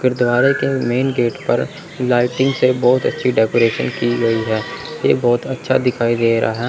गुरुद्वारे के main gate पर लाइटिंग से बहोत अच्छी डेकोरेशन की गयी है ये बहोत अच्छा दिखाई दे रहा--